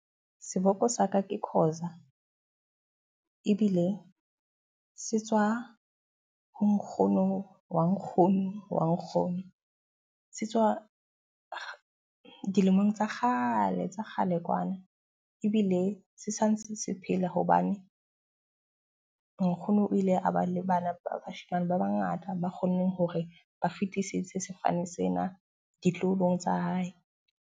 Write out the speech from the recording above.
Seboko sa ka ke Khoza ebile se tswa ho nkgono wa nkgono wa nkgono. Se tswa dilemong tsa kgale tsa kgale kwana. Ebile se santse se phele hobane nkgono o ile a ba le bana ba bashemane ba ba ngata ba kgonneng hore ba fitisitse sefane sena ditloholong tsa hae.